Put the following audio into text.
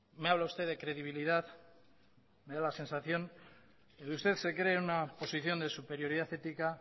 me habla usted de credibilidad me da la sensación de que usted se cree en una posición de superioridad ética